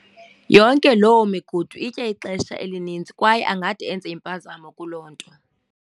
yonke loo migudu itya ixesha elininzi kwaye angade enze iimpazamo kuloo nto.